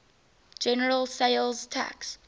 general sales tax